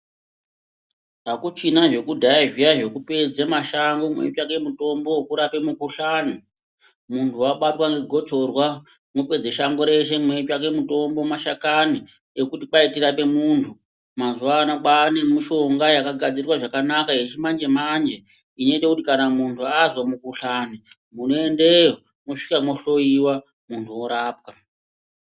Hakuchina zvekudhaya zviya zvekupedze mashango muchitsvake mutombo wekurape mikuhlani muntu wabatwa ngegotsorwa munopedza shango reshe muchitsvake mutombo mashakani ekuti kwai tirape muntu. Mazuvano kwava nemushonga yakagadzirwa zvakanaka yechimanje-manje inoito kuti kana muntu azwe mukuhlani, unoendeyo mosvika mohloyiwa muntu worapwa.